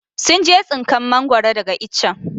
sun je tsinkan mangoro daga ichen.